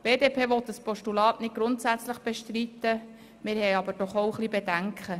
Die BDP will das Postulat nicht grundsätzlich bestreiten, wir haben aber auch ein wenig Bedenken: